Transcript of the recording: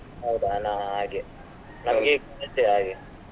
ಹೌದಾ ನಾ ಹಾಗೆ ಈಗ ರಜೆ ಹಾಗೆ.